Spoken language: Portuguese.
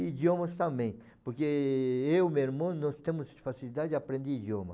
E idiomas também, porque eu e meu irmão, nós temos facilidade de aprender idioma.